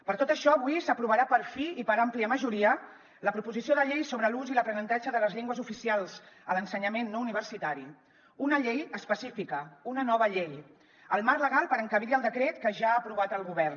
per tot això avui s’aprovarà per fi i per àmplia majoria la proposició de llei sobre l’ús i l’aprenentatge de les llengües oficials a l’ensenyament no universitari una llei específica una nova llei el marc legal per encabir hi el decret que ja ha aprovat el govern